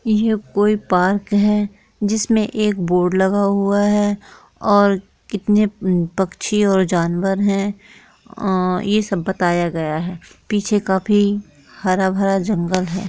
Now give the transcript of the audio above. यह कोई पार्क है जिसमें एक बोर्ड लगा हुआ है और इतने पक्षी और जानवर हैं और यह सब बताया गया है पीछे काफी हरा भरा जंगल है।